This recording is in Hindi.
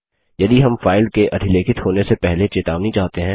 यदि हम फाइल के अधिलेखित होने से पहले चेतावनी चाहते हैं